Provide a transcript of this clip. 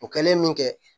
O kɛlen min kɛ